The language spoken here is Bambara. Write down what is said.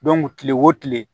kile o kile